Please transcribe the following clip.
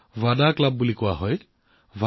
এইবোৰক তেওঁলোকে বড়াভাদা ক্লাব বুলি কয়